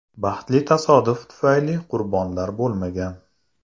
Baxtli tasodif tufayli qurbonlar bo‘lmagan.